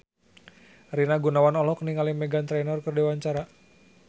Rina Gunawan olohok ningali Meghan Trainor keur diwawancara